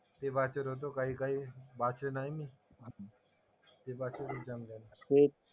ते वाचत होतो काही काही. वाचन आहे मी. ते वाचेल एक्झामला. ते,